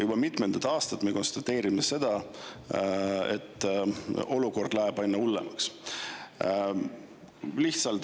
Juba mitmendat aastat me konstateerime, et olukord läheb aina hullemaks.